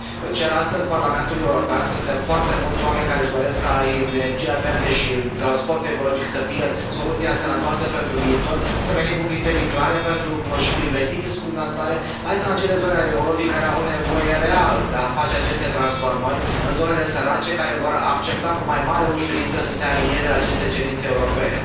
Cer astăzi Parlamentului European, suntem foarte mulți oameni care își doresc ca energia verde și transportul ecologic să fie soluția sănătoasă pentru viitor, să venim cu criterii clare și cu investiții suplimentare, mai ales în acele zone ale Europei care au nevoie real de a face aceste transformări în zonele sărace care vor accepta cu mai mare ușurință să se alinieze la aceste cerințe europene.